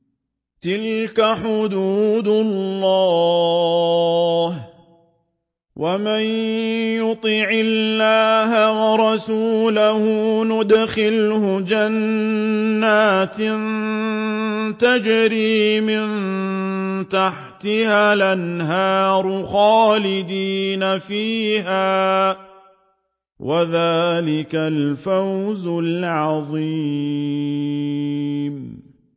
تِلْكَ حُدُودُ اللَّهِ ۚ وَمَن يُطِعِ اللَّهَ وَرَسُولَهُ يُدْخِلْهُ جَنَّاتٍ تَجْرِي مِن تَحْتِهَا الْأَنْهَارُ خَالِدِينَ فِيهَا ۚ وَذَٰلِكَ الْفَوْزُ الْعَظِيمُ